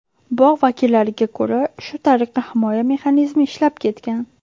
Bog‘ vakillariga ko‘ra, shu tariqa himoya mexanizmi ishlab ketgan.